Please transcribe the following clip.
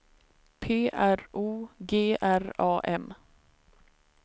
P R O G R A M